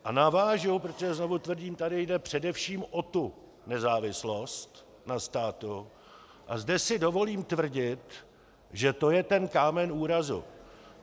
A navážu, protože znovu tvrdím, tady jde především o tu nezávislost na státu, a zde si dovolím tvrdit, že to je ten kámen úrazu.